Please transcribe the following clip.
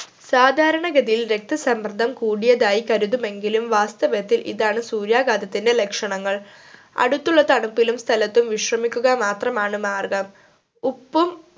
സാധാരണ ഗതിയിൽ രക്തസമ്മർദം കൂടിയതായി കരുതുമെങ്കിലും വാസ്തവത്തിൽ ഇതാണ് സൂര്യാഘാതത്തിന്റെ ലക്ഷണങ്ങൾ അടുത്തുള്ള തണുപ്പിലും സ്ഥലത്തും വിശ്രമിക്കുക മാത്രമാണ് മാർഗം ഉപ്പും